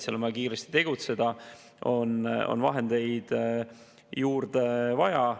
Seal on vaja kiiresti tegutseda ja on vahendeid juurde vaja.